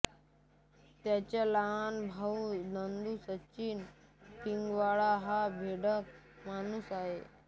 त्याचा लहान भाऊ नंदू सचिन पिळगावकर हा भेकड माणूस आहे